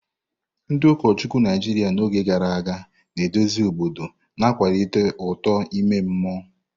Ndị ụkọchukwu Naijiria n'oge gara aga na-eduzi obodo, na-akwalite uto ime mmụọ.